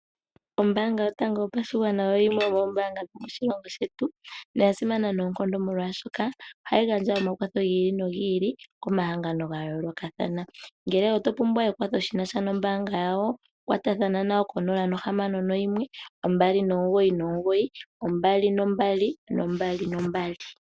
Ombaanga yotango yopashigwana oyo yimwe yomoombaanga dhomoshilongo shetu na oyasimana noonkondo molwaashoka ohayi gandja omakwatho gi ili nogi ili komahango gayoolokathana. Ngele oto pumbwa ekwatho shinasha nombaanga yawo kwatathana nayo ko 0612992222.